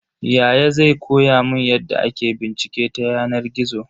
Yaya zai koya mun yadda ake bincike ta yanar gizo.